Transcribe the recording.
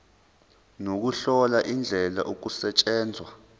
nokuhlola indlela okusetshenzwa